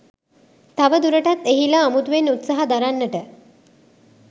තවදුරටත් එහිලා අමුතුවෙන් උත්සාහ දරන්නට